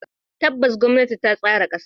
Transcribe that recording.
Tabbas, gwamnati ta tsara kasa.